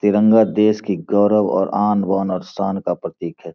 तिरंगा देश की गौरव और आन-बान और शान का प्रतीक है।